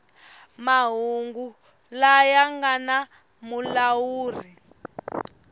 mahungu laya nga na mulawuri